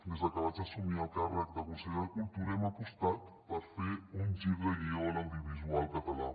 des de que vaig assumir el càrrec de consellera de cultura hem apostat per fer un gir de guió a l’audiovisual català